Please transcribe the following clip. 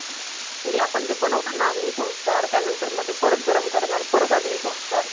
म्हणजे आपण बनवताना अग्नी संस्कार त्यानंतरमध्ये परत गरम करणार परत अग्निसंस्कार